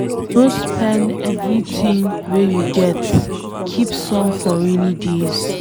No spend everything wey you get, keep some for rainy days